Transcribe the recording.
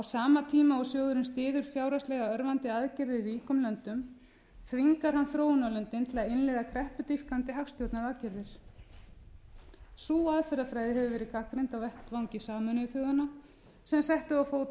sama tíma og sjóðurinn styður fjárhagslega örvandi aðgerðir í ríkum löndum þvingar hann þróunarlöndin til þess að innleiða kreppudýpkandi hagstjórnaraðgerðir sú aðferðafræði hefur verið gagnrýnd á vettvangi sameinuðu þjóðanna sem settu á fót